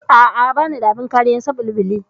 A'a, bani da abin kariyar caɓalɓali.